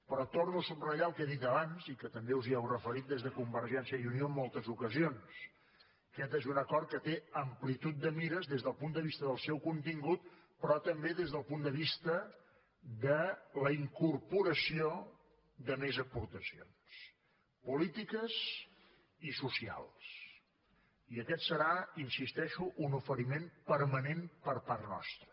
però torno a subratllar el que he dit abans i que també us hi heu referit des de convergència i unió en moltes ocasions aquest és un acord que té amplitud de mires des del punt de vista del seu contingut però també des del punt de vista de la incorporació de més aportacions polítiques i socials i aquest serà hi insisteixo un oferiment permanent per part nostra